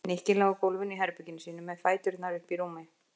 Nikki lá á gólfinu í herberginu sínu með fæturna uppi í rúmi.